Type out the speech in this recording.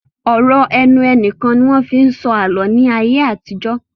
Ọ̀rọ̀ ẹnu nìkan ni wọ́n fi ń sọ àlọ́ ní ayé àtijọ́